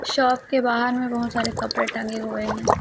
Shop के बाहर में बहुत सारे कपड़े टंगे हुए हैं।